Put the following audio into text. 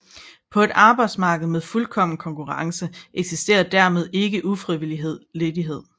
På et arbejdsmarked med fuldkommen konkurrence eksisterer dermed ikke ufrivillig ledighed